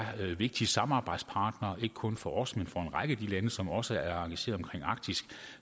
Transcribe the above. en vigtig samarbejdspartner ikke kun for os men for en række af de lande som også er engageret i arktis